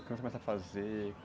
O que você começa a fazer?